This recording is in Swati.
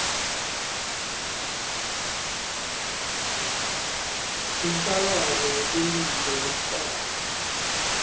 inhlangano yetemphilo yemhlaba